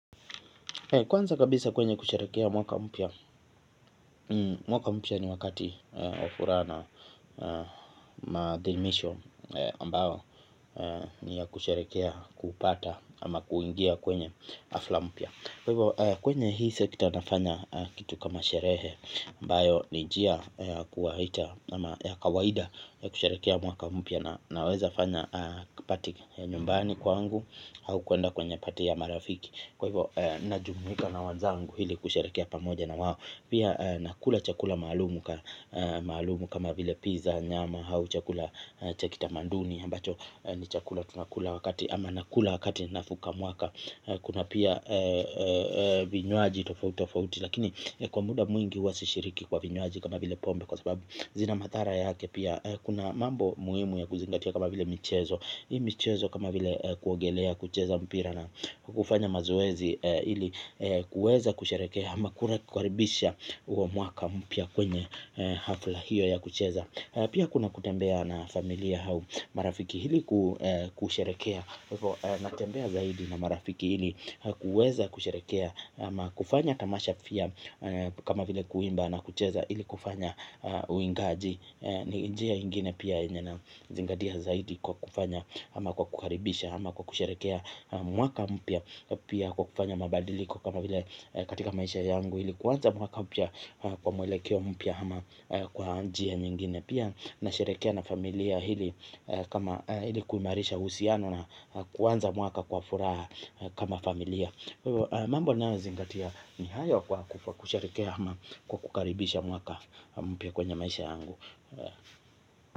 Kwanza kabisa kwenye kusherehekea mwaka mpya, mwaka mpya ni wakati wa furaha na maadhimisho ambayo ni ya kusherehekea kupata ama kuingia kwenye hafla mpya. Kwenye hii sekta nafanya kitu kama sherehe ambayo ni njia ya kuwaita ama ya kawaida ya kusherehekea mwaka mpya na naweza fanya kapati nyumbani kwangu au kuenda kwenye pati ya marafiki. Kwa hivyo na jumuhika na wanzangu hili kusharekia pamoja na wawo. Pia nakula chakula malumu kama vile pizza nyama. Hau chakula chakita manduni ambacho ni chakula tunakula wakati ama nakula wakati nafuka mwaka. Kuna pia vinywaji tofauti tofauti. Lakini kwa muda mwingi huwa sishiriki kwa vinywaji kama vile pombe. Kwa sababu zina madhara yake pia. Kuna mambo muhimu ya kuzingatia kama vile michezo michezo kama vile kuogelea kucheza mpira. Kufanya mazoezi ili kuweza kusherehekea ama kukaribisha huo mwaka mpya kwenye hafla hiyo ya kucheza. Pia kuna kutembea na familia au marafiki ili kusherehekea. Natembea zaidi na marafiki ili kuweza kusherehekea ama kufanya tamasha pia kama vile kuimba na kucheza ili kufanya uingaji. Ni injea ingine pia inje na zingadia zaidi kwa kufanya ama kwa kukaribisha ama kwa kusharekea mwaka mpia. Pia kwa kufanya mabadiliko kama vile katika maisha yangu. Hili kuwanza mwaka pia kwa mwelekeo mpia ama kwa anjea nyingine. Pia na sharekea na familia hili kama ili kuimarisha uhusiano na kuanza mwaka kwa furaha kama familia. Mambo ninayo zingadia ni hayo kwa kusherehekea ama kukaribisha mwaka mpya kwenye maisha yangu.